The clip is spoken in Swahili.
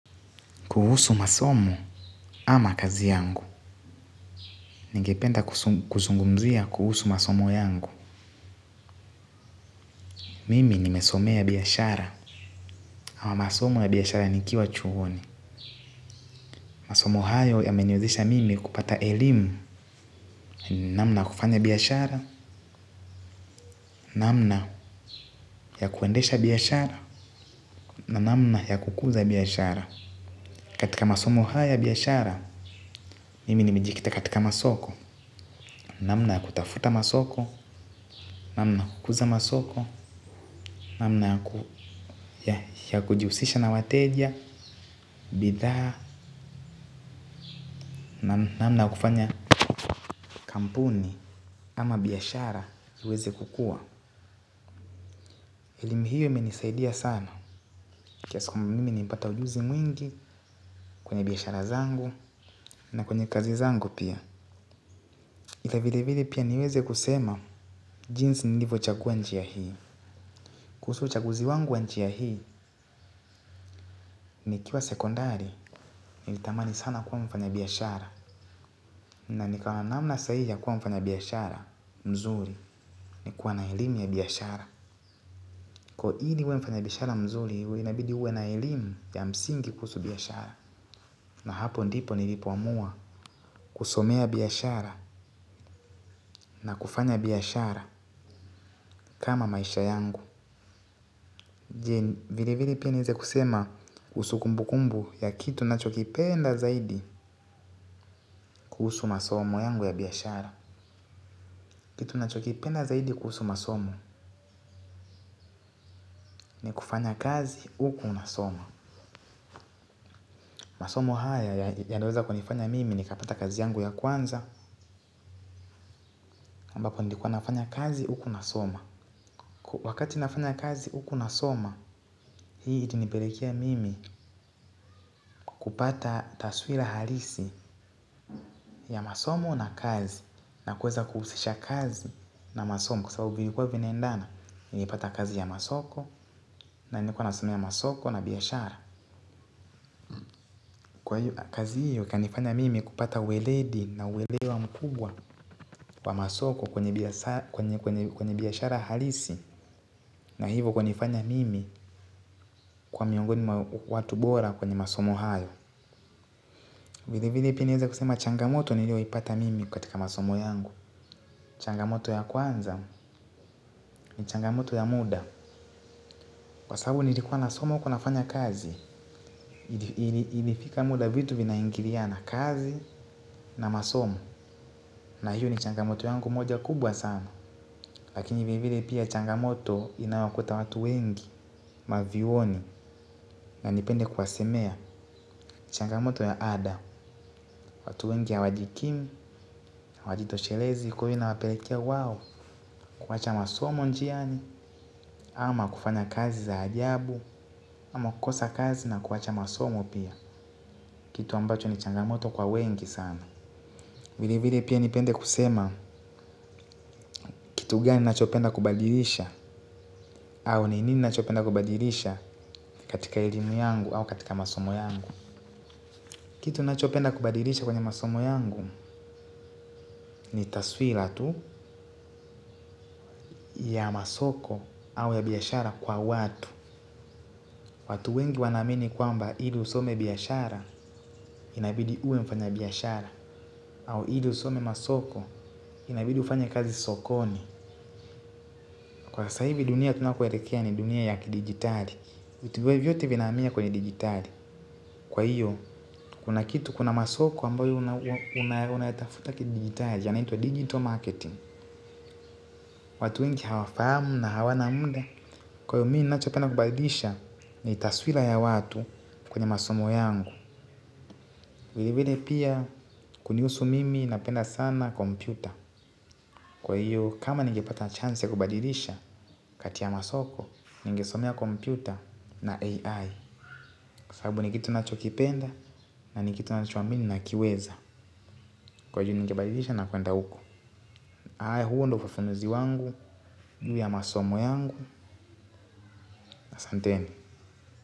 Kuhusu masomo ama kazi yangu Ningependa kuzungumzia kuhusu masomo yangu. Mimi nimesomea biashara. Ama masomo ya biashara nikiwa chuoni. Masomo hayo ya meniwezesha mimi kupata elimu. Namna ya kufanya biashara. Namna ya kuendesha biashara. Namna ya kukuza biashara. Katika masomo haya ya biashara. Mimi nimejikita katika masoko namna ya kutafuta masoko namna ya kukuza masoko namna ya kujihusisha na wateja bidhaa namna ya kufanya kampuni ama biashara iweze kukua elimu hio imenisaidia sana kiasi kwamba mimi nimepata ujuzi mwingi kwenye biashara zangu na kwenye kazi zangu pia na vile vile pia niweze kusema jinsi nilivyo chagua njia hii. Kuhusu uchaguzi wangu wa njia hii nikiwa sekondari. Nilitamani sana kuwa mfanya biashara. Na nikaona namna sahihi ya kuwa mfanya biashara. Mzuri ni kuwa na elimu ya biashara. Kwa hio ili uwe mfanya biashara mzuri uwe inabidi uwe na elimu ya msingi kuhusu biashara. Na hapo ndipo nilipoamua. Kusomea biashara na kufanya biashara. Kama maisha yangu Vile vile pia niweze kusema kuhusu kumbu kumbu ya kitu ninachokipenda zaidi. Kuhusu masomo yangu ya biashara. Kitu ninachokipenda zaidi kuhusu masomo ni kufanya kazi huku unasoma. Masomo haya yanaweza kunifanya mimi nikapata kazi yangu ya kwanza ambako nilikuwa nafanya kazi huku nasoma. Wakati nafanya kazi huku nasoma. Hii itanipelekea mimi kupata taswira halisi ya masomo na kazi na kuweza kuhusisha kazi na masomo kwasababu vilikuwa vinaendana. Nilipata kazi ya masoko. Na nilikuwa nasomea masoko na biashara. Kwa hiyo kazi hiyo ikanifanya mimi kupata uweledi na uelewa mkubwa wa masoko kwenye biashara halisi. Na hivo kwanifanya mimi kuwa miongoni mwa watu bora kwenye masomo hayo. Vile vile pia naeza kusema changamoto nilio ipata mimi katika masomo yangu. Changamoto ya kwanza ni changamoto ya muda. Kwa sababu nilikuwa nasoma huku nafanya kazi ilifika muda vitu vinaingiliana kazi na masomo. Na hiyo ni changamoto yangu moja kubwa sana. Lakini vile vile pia changamoto inayowakuta watu wengi mavyuoni. Na nipende kuwasemea changamoto ya ada. Watu wengi hawajikimu, hawajitoshelezi kwa hiyo ina wapelekea wao. Kuwacha masomo njiani ama kufanya kazi za ajabu ama kukosa kazi na kuwacha masomo pia. Kitu ambacho ni changamoto kwa wengi sana. Vile vile pia nipende kusema kitu gani ninachopenda kubadilisha. Au ni nini ninachopenda kubadilisha katika elimu yangu au katika masomo yangu. Kitu ninachopenda kubadilisha kwenye masomo yangu ni taswira tu ya masoko au ya biashara kwa watu. Watu wengi wanaamini kwamba ili usome biashara inabidi uwe mfanya biashara. Au ili usome masoko inabidi ufanya kazi sokoni. Kwa sasa hivi dunia tunakoelekea ni dunia ya ki-digitali vitu vyovyote vinahamia kwenye digitali. Kwa hiyo, kuna kitu kuna masoko ambayo unayatafuta ki-digitali yanaitwa digital marketing. Watu wengi hawafahamu na hawana muda. Kwa hiyo mimi ninachopenda kubadilisha ni taswira ya watu kwenye masomo yangu. Vile vile pia kunihusu mimi napenda sana kompyuta. Kwa hiyo kama ningepata chance ya kubadilisha kati ya masoko ningesomea kompyuta na AI kwa sababu ni kitu ninacho kipenda na ni kitu ninacho amini nakiweza. Kwa hiyo ningebadilisha na kuenda huko. Haya huo ndo ufafanuzi wangu juu ya masomo yangu ahsanteni.